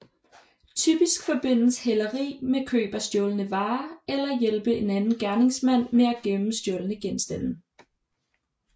Typisk forbindes hæleri med køb af stjålne varer eller hjælpe en anden gerningsmand med at gemme stjålne genstande